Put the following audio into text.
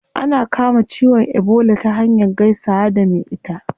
Ana kama ciwon ebola ta hanyar gaisawa da me ita